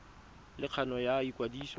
le kgano ya go ikwadisa